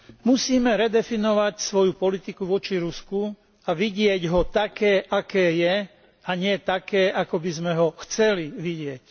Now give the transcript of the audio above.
Musíme redefinovať svoju politiku voči Rusku a vidieť ho také, aké je, a nie také, aké by sme ho chceli vidieť.